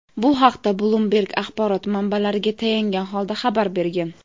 Bu haqda "Bloomberg" axborot manbalariga tayangan holda xabar bergan.